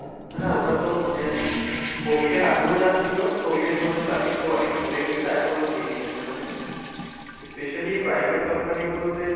হ্যাঁ, ওটাতো মানে আহ covid এর আগেও যা ছিল, covid এর সময় তা একটু অনেক পরে গেছিল। এখনও same ই আছে। মানে, specially private company গুলোতে